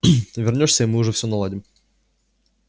вернёшься и мы уж всё наладим